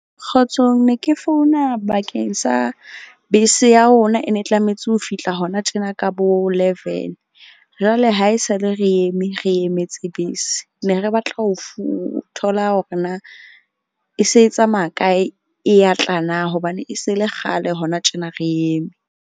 Kgotsong ne ke founa bakeng sa bese ya rona, e ne tlametse ho fihla hona tjena ka bo leven. Jwale ha esale re eme re emetse bese. Ne re batla ho thola hore na e se tsamaya kae e ya tla na? Hobane e se e le kgale hona tjena re eme.